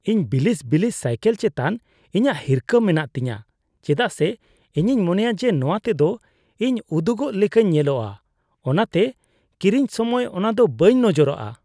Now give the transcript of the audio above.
ᱤᱧ ᱵᱤᱞᱤᱥ ᱵᱤᱞᱤᱥ ᱥᱟᱭᱠᱤᱞ ᱪᱮᱛᱟᱱ ᱤᱧᱟᱹᱜ ᱦᱤᱨᱠᱷᱟᱹ ᱢᱮᱱᱟᱜ ᱛᱤᱧᱟᱹ ᱪᱮᱫᱟᱜ ᱥᱮ ᱤᱧᱤᱧ ᱢᱚᱱᱮᱭᱟ ᱡᱮ ᱱᱚᱶᱟ ᱛᱮᱫᱚ ᱤᱧ ᱩᱫᱩᱜᱚᱜ ᱞᱮᱠᱟᱧ ᱧᱮᱞᱚᱜᱼᱟ, ᱚᱱᱟᱛᱮ ᱠᱤᱨᱤᱧ ᱥᱚᱢᱚᱭ ᱚᱱᱟᱫᱚ ᱵᱟᱹᱧ ᱱᱚᱡᱚᱨᱟᱜᱼᱟ ᱾